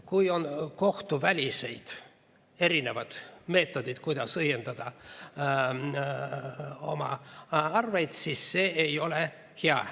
Kui on kohtuvälised erinevad meetodid, kuidas õiendada oma arveid, siis see ei ole hea.